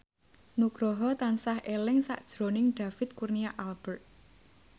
Nugroho tansah eling sakjroning David Kurnia Albert